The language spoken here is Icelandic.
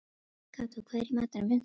Kató, hvað er í matinn á fimmtudaginn?